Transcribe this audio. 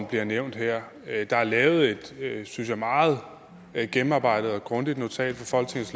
bliver nævnt her der er lavet et synes jeg meget gennemarbejdet og grundigt notat